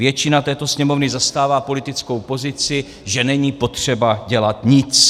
Většina této Sněmovny zastává politickou pozici, že není potřeba dělat nic.